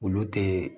Olu tɛ